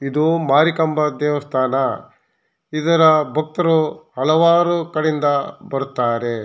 ಇದು ಮಾರಿಕಾಂಬಾ ದೇವಸ್ಥಾನ ಇದರ ಭಕ್ತರು ಹಲವಾರು ಕಡೆಯಿಂದ ಬರುತ್ತಾರೆ.